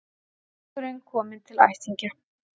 Drengurinn kominn til ættingja